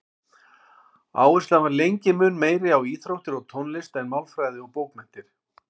Áherslan var lengi mun meiri á íþróttir og tónlist en málfræði og bókmenntir.